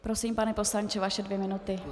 Prosím, pane poslanče, vaše dvě minuty.